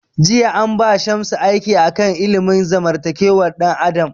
Jiya an ba Shamsu aiki a kan ilimin zamantakewar dan adam